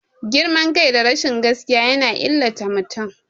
Girman kai da rashin gaskiya yana illata mutum.